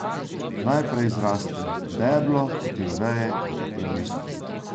Najprej zraste deblo, potem veje in potem listi.